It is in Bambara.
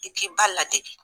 I k'i ba ladege.